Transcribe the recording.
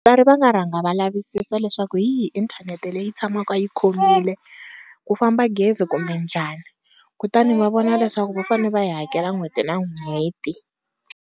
va nga rhanga va lavisisa leswaku yi hi inthanete leyi tshamaka yi khomile ku famba gezi kumbe njhani, kutani va vona leswaku va fane va yi hakela n'hweti na n'hweti.